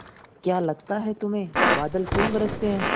क्या लगता है तुम्हें बादल क्यों गरजते हैं